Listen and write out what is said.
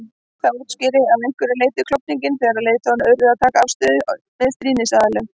Það útskýrir að einhverju leyti klofninginn þegar leiðtogarnir urðu að taka afstöðu með stríðsaðilum.